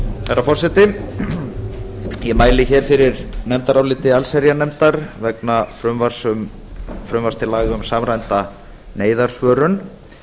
herra forseti ég mæli hér fyrir nefndaráliti allsherjarnefndar vegna frumvarps til aðra um samræmda neyðarsvörun